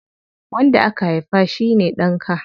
Wanda ka haifa shine ɗanka.